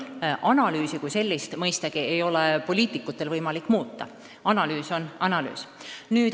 Analüüsi kui sellist mõistagi ei ole poliitikutel võimalik muuta, analüüs on analüüs.